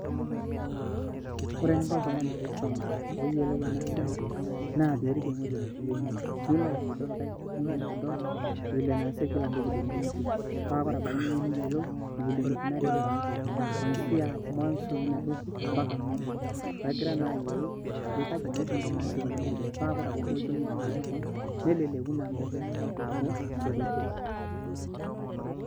Oore eningo oltung'ani pee iisum peyie eyiolu eena siai naa peyie iriik ewueji natii ea toki nilo aitodol vile naasi kila kila entoki teene wueji kaa oore abaiki ninye neyiolou[cs[vile naikunari imbaaa kuanzia mwanzo eena toki mbaka mwisho peyie egira naa ayiolou ajo kaji naa eikunari teniasi kuuna tokitin. Pee tenelotu naa ninye asaki keon neleleku amuu kiaku ketoduaa.